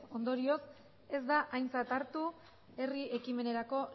ondorioz ez da aintzat hartu herri ekimenerako